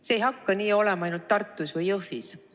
See ei hakka nii olema ainult Tartus või Jõhvis.